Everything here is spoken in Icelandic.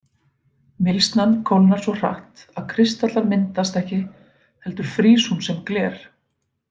Mylsnan kólnar svo hratt að kristallar myndast ekki heldur frýs hún sem gler.